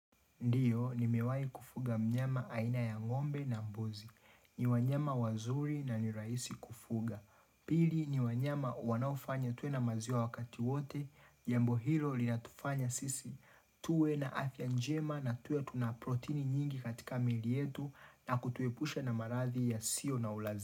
Ndiyo, ni mewai kufuga mnyama aina ya ngombe na mbozi. Ni wanyama wazuri na niraisi kufuga. Pili ni wanyama wanaofanya tuwe na maziwa wakati wote, jambo hilo li natufanya sisi. Tuwe na afya njema na tuwe tuna protini nyingi katika miili yetu na kutuepusha na marathi ya sio na ulazi.